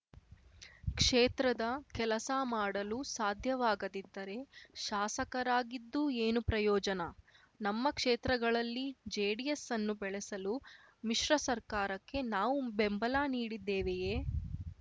ಕ್ಷೇತ್ರದ ಕೆಲಸ ಮಾಡಲು ಸಾಧ್ಯವಾಗದಿದ್ದರೆ ಶಾಸಕರಾಗಿದ್ದು ಏನು ಪ್ರಯೋಜನ ನಮ್ಮ ಕ್ಷೇತ್ರಗಳಲ್ಲಿ ಜೆಡಿಎಸ್‌ ಅನ್ನು ಬೆಳೆಸಲು ಮ್ಮಿಶ್ರ ಸರ್ಕಾರಕ್ಕೆ ನಾವು ಬೆಂಬಲ ನೀಡಿದ್ದೇವೆಯೇ